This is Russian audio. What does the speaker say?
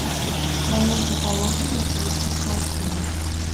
в твоем каталоге есть лица в толпе